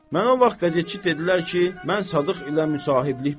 Mən o vaxt qəzetçi dedilər ki, mən Sadıq ilə müsahiblik başlardı.